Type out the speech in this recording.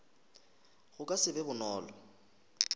go ka se be bonolo